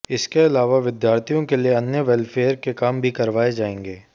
इसके अलावा विद्यार्थियों के लिए अन्य वेलफेयर के काम भी करवाए जाएंगे